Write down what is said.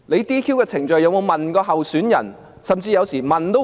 "DQ" 的程序有否向候選人提出問題？